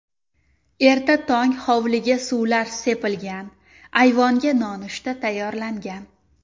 Erta tong hovliga suvlar sepilgan, ayvonga nonushta tayyorlangan.